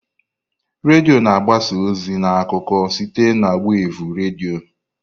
Redio na-agbasa ozi na akụkọ site na wevụ redio.